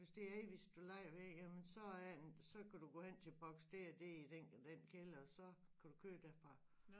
Hvis det er Avis du lejer ved jamen så øh så kan du gå hen til boks det og det i den den kælder så kan du køre derfra